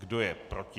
Kdo je proti?